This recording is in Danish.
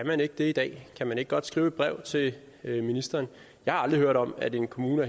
man ikke det i dag kan man ikke godt skrive et brev til ministeren jeg har aldrig hørt om at en kommune